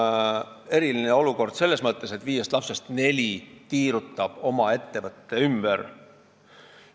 Seal on eriline olukord selles mõttes, et viiest lapsest neli tiirutab oma ettevõtte ümber.